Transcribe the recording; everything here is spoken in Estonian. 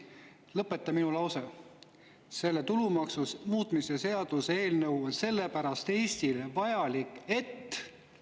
Lõpeta minu lause: see tulumaksu muutmise seaduse eelnõu on Eestile vajalik selle pärast, et …